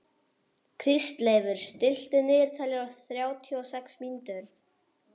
Kristleifur, stilltu niðurteljara á þrjátíu og sex mínútur.